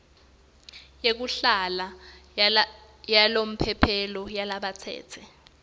yekuhlala yalomphelo yalabatsetse